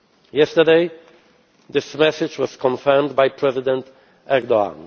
wave. Yesterday this message was confirmed by President Erdoğan.